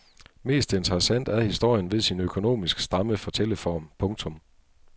Mest interessant er historien ved sin økonomisk stramme fortælleform. punktum